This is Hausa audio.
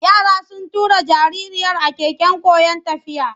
Yara sun tura jaririyar a keken koyon tafiya.